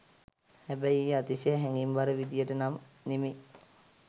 හැබැයි ඒ අතිශය හැඟීම් බර විදියට නම් නෙවෙයි.